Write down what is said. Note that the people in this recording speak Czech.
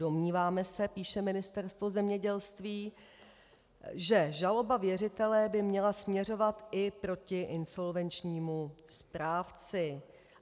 Domníváme se, píše Ministerstvo zemědělství, že žaloba věřitele by měla směřovat i proti insolvenčnímu správci.